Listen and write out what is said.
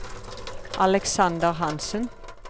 Alexander Hanssen